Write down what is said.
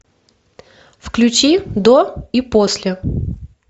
включи до и после